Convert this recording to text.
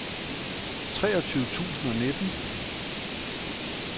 treogtyve tusind og nitten